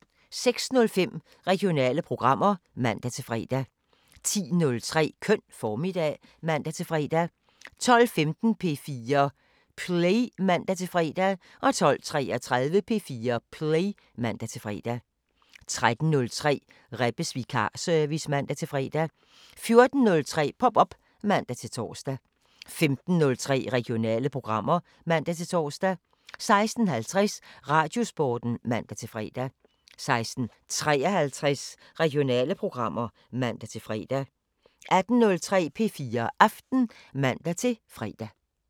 06:05: Regionale programmer (man-fre) 10:03: Køn formiddag (man-fre) 12:15: P4 Play (man-fre) 12:33: P4 Play (man-fre) 13:03: Rebbes vikarservice (man-fre) 14:03: Pop op (man-tor) 15:03: Regionale programmer (man-tor) 16:50: Radiosporten (man-fre) 16:53: Regionale programmer (man-fre) 18:03: P4 Aften (man-fre)